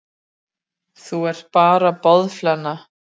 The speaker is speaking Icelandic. Þú ert bara boðflenna.